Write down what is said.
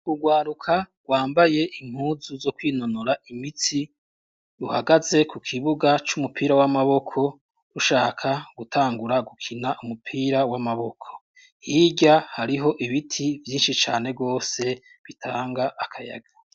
Urwaruka rwambaye impuzu zo kwinonora imitsi ruhagaze ku kibuga c'umupira w'amaboko rushaka gutangura gukina umupira w'amaboko, hirya hariho ibiti vyinshi cane rwose bitanga akayaga.